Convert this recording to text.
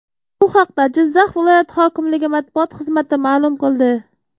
Bu haqda Jizzax viloyat hokimligi matbuot xizmati ma’lum qildi .